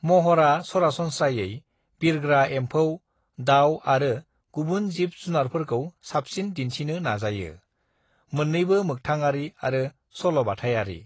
"महरा सरासनस्रायै बिरग्रा एमफौ, दाउ आरो गुबुन जिब जुनारफोरखौ साबसिन दिन्थिनो नाजायो, मोन्नैबो मोक्थांआरि आरो सल'बाथायारि।"